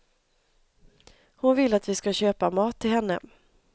Hon vill att vi ska köpa mat till henne.